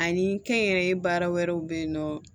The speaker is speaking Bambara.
Ani kɛnyɛrɛye baara wɛrɛw bɛ yen nɔ